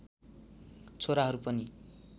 छोराहरू पनि